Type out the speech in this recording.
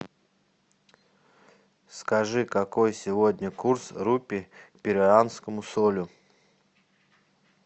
скажи какой сегодня курс рупи к перуанскому солю